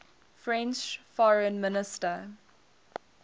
french foreign minister